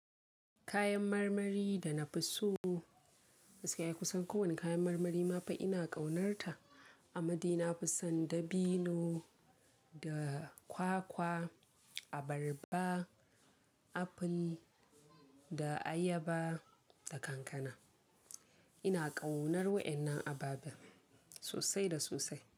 Kayan marmari da na fi so, sai ku san ko wani kayan marmari ma fa ina ƙaunarta. Amma dai na fi son dabino da kwakwa, abarba, apple, da ayaba da kankana. Ina ƙaunar wa'annan ababen sosai da sosai.